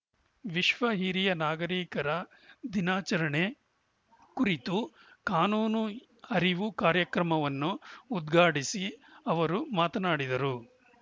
ವಿಶ್ವ ಹಿರಿಯ ನಾಗರಿಕರ ದಿನಾಚರಣೆ ಕುರಿತು ಕಾನೂನು ಅರಿವು ಕಾರ್ಯಕ್ರಮವನ್ನು ಉದ್ಘಾಟಿಸಿ ಅವರು ಮಾತನಾಡಿದರು